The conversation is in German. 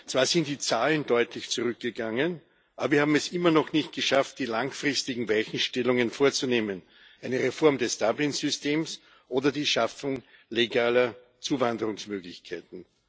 Zwar sind die Zahlen deutlich zurückgegangen, aber wir haben es immer noch nicht geschafft, die langfristigen Weichenstellungen vorzunehmen eine Reform des Dublin Systems oder die Schaffung legaler Zuwanderungsmöglichkeiten.